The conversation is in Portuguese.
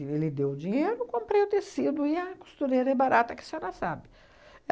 Ele deu o dinheiro, comprei o tecido e a costureira é barata, que a senhora sabe.